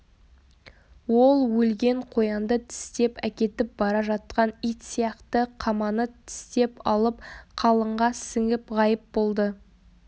ол өлген қоянды тістеп әкетіп бара жатқан ит сияқты қаманы тістеп алып қалыңға сіңіп ғайып болды